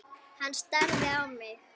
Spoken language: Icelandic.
Hann starði á mig.